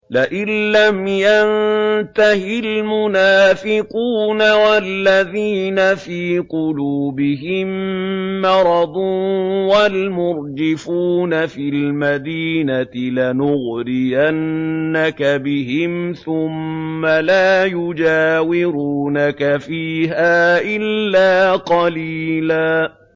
۞ لَّئِن لَّمْ يَنتَهِ الْمُنَافِقُونَ وَالَّذِينَ فِي قُلُوبِهِم مَّرَضٌ وَالْمُرْجِفُونَ فِي الْمَدِينَةِ لَنُغْرِيَنَّكَ بِهِمْ ثُمَّ لَا يُجَاوِرُونَكَ فِيهَا إِلَّا قَلِيلًا